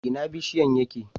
Ina bishiyan yake?